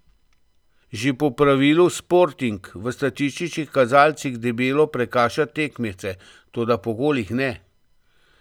Že po pravilu Sporting v statističnih kazalcih debelo prekaša tekmece, toda po golih ne.